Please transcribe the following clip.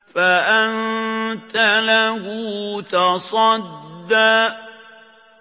فَأَنتَ لَهُ تَصَدَّىٰ